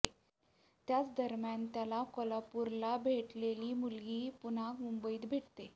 त्याच दरम्यान त्याला कोल्हापूरला भेटलेली मुलगी पुन्हा मुंबईत भेटते